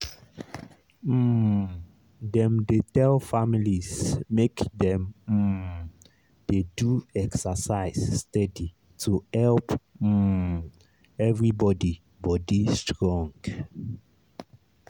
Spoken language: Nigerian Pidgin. um dem dey tell families make dem um dey do exercise steady to help um everybody body strong.